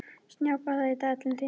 Snjáka, hvað er í dagatalinu í dag?